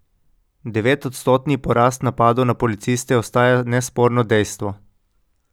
Devetodstotni porast napadov na policiste ostaja nesporno dejstvo.